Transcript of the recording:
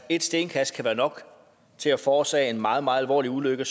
ét stenkast kan være nok til at forårsage en meget meget alvorlig ulykke